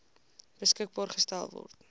beskikbaar gestel word